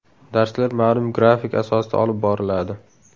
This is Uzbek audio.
Darslar ma’lum grafik asosida olib boriladi.